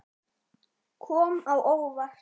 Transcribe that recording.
Kom á óvart.